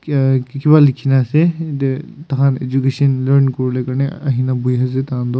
uhh kiba likina ase yete takan education learn kurivolae karnae ahina buihi ase takan tu.